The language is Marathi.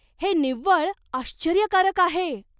हे निव्वळ आश्चर्यकारक आहे!